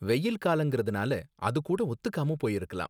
வெயில் காலங்கறதுனால அது கூட ஒத்துக்காம போயிருக்கலாம்